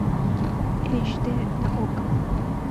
эйч дэ на окко